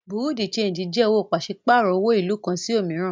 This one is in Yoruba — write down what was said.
Bureau de change jé òwò pàṣípàrọ̀ owo ìlú kan sí òmíràn.